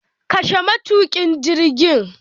Kashe matukin jirgin